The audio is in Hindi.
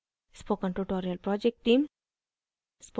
spoken tutorial project team